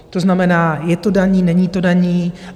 To znamená, je to daní, není to daní?